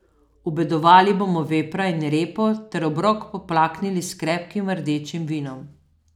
Obedovali bomo vepra in repo ter obrok poplaknili s krepkim rdečim vinom.